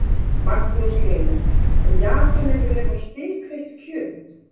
Magnús Hlynur: Og Japanir vilja fá spikfeitt kjöt?